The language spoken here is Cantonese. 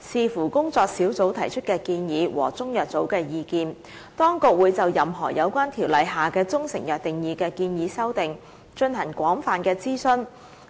視乎工作小組提出的建議和中藥組的意見，當局會就任何有關《條例》下的中成藥定義的建議修訂，進行廣泛諮詢，